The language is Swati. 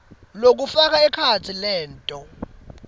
lokufaka ekhatsi leto